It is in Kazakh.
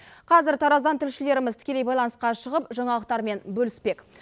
қазір тараздан тілшілеріміз тікелей байланысқа шығып жаңалықтармен бөліспек